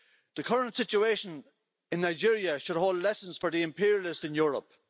The current situation in Nigeria should hold lessons for the imperialists in Europe.